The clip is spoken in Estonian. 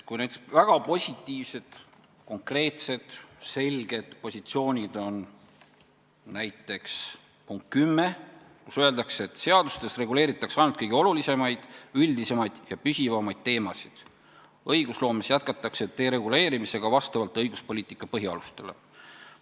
Väga positiivsed, konkreetsed ja selged positsioonid on näiteks punktis 10, kus öeldakse, et seadustes reguleeritakse ainult kõige olulisemaid, üldisemaid ja püsivamaid teemasid, õigusloomes jätkatakse dereguleerimisega vastavalt õiguspoliitika põhialustele.